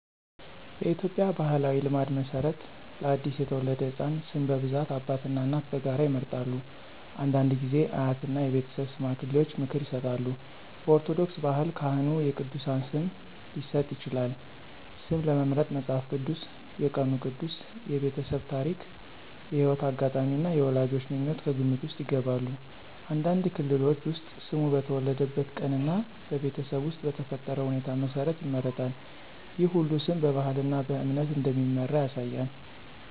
በኢትዮጵያ ባሕላዊ ልማድ መሠረት ለአዲስ የተወለደ ሕፃን ስም በብዛት አባትና እናት በጋራ ይመርጣሉ። አንዳንድ ጊዜ አያትና የቤተሰብ ሽማግሌዎች ምክር ይሰጣሉ። በኦርቶዶክስ ባህል ካህኑ የቅዱሳን ስም ሊሰጥ ይችላል። ስም ለመምረጥ መጽሐፍ ቅዱስ፣ የቀኑ ቅዱስ፣ የቤተሰብ ታሪክ፣ የሕይወት አጋጣሚ እና የወላጆች ምኞት ከግምት ውስጥ ይገባሉ። አንዳንድ ክልሎች ውስጥ ስሙ በተወለደበት ቀን እና በቤተሰብ ውስጥ በተፈጠረ ሁኔታ መሠረት ይመረጣል። ይህ ሁሉ ስም በባህልና በእምነት እንደሚመራ ያሳያል።